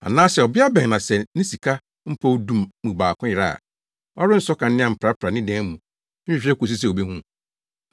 “Anaasɛ ɔbea bɛn na sɛ ne sika mpɔw du mu baako yera a, ɔrensɔ kanea mprapra ne dan mu, nhwehwɛ kosi sɛ obehu.